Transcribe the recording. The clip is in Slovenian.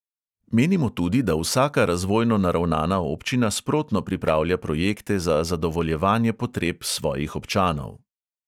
Menimo tudi, da vsaka razvojno naravnana občina sprotno pripravlja projekte za zadovoljevanje potreb svojih občanov.